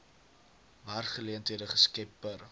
werksgeleenthede geskep per